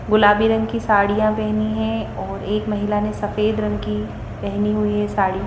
गुलाबी रंग की साड़ियां पहनी है और एक महिला ने सफेद रंग की पहनी हुई है साड़ी--